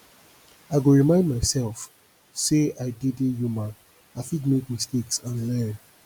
i go remind myself say i dey dey human i fit make mistakes and learn